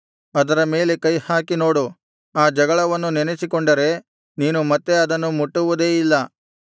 ಅದರ ಮೇಲೆ ಕೈಹಾಕಿ ನೋಡು ಆ ಜಗಳವನ್ನು ನೆನಸಿಕೊಂಡರೆ ನೀನು ಮತ್ತೆ ಅದನ್ನು ಮುಟ್ಟುವುದೇ ಇಲ್ಲ